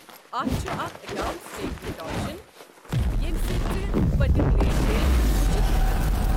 اتھ چھُ اکھ اکاونٛٹ سٹیٹمنٛٹ آپشن ییٚمہِ سۭتۍ ژٕ پٔتِم لین دین وٕچھِتھ ہٮ۪ككھ۔